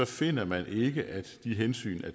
finder man ikke at de hensyn er